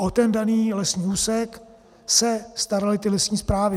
O ten daný lesní úsek se staraly ty lesní správy.